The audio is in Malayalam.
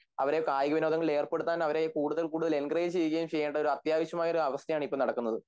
അവരെ കായികവിനോദങ്ങളിൽ ഏർപ്പെടുത്താൻ അവരെ കൂടുതൽ എങ്കറേജ്ചെയ്യുകയും ചെയ്യേണ്ട ഒരു അത്യാവശമായ ഒരാവസ്ഥയാണിപ്പോൾ നടക്കുന്നത്